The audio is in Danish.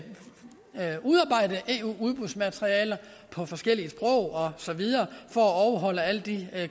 at udarbejde eu udbudsmaterialer på forskellige sprog og så videre for at overholde alle de